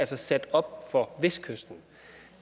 sat op for vestkysten